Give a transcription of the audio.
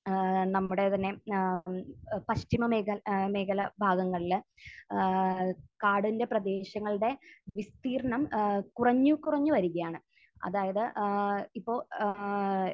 ഏഹ് നമ്മുടെ തന്നെ ഏഹ് പശ്ചിമ മേഖ...ഏഹ് മേഖല ഭാഗങ്ങളിൽ ഏഹ് കാടിൻറെ പ്രദേശങ്ങളുടെ വിസ്തീർണം ഏഹ് കുറഞ്ഞ്, കുറഞ്ഞ് വരുകയാണ്. അതായത് ഏഹ് ഇപ്പോൾ ഏഹ്